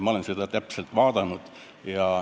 Olen seda kõike hoolega jälginud.